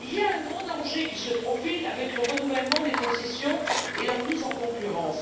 Un grand danger se profile avec le renouvellement des concessions et leur mise en concurrence.